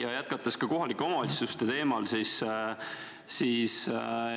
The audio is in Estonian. Aga jätkan kohalike omavalitsuste teemal.